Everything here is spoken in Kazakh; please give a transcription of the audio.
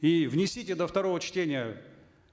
и внесите до второго чтения